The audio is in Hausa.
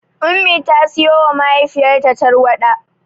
Ummi ta siyowa mahaifiyarta tarwaɗa.